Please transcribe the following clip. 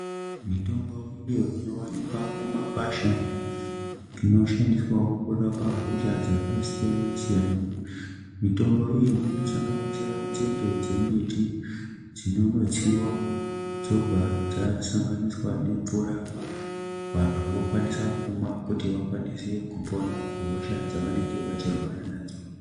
Mitombo iyo inowanikwa mumakwasha inoshandiswawo kurapa hosha dzakasiyana-siyana. Mitombo iyi inosanganisira nzinde dzembiti dzinonotsiwa dzobva dzasanganiswa nemvura, vantu vokwanisa kumwa kuti vakwanise kupora kuhosha dzavanenge vachirwara nadzo.